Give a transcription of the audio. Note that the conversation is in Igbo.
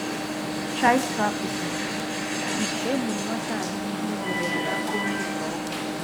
Child Trafficking: Ị̀chì ẹ̀gbùrù nwata a n’ihù zọrọ ya n’aka onye ntọrị.